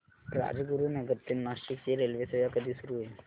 राजगुरूनगर ते नाशिक ची रेल्वेसेवा कधी सुरू होईल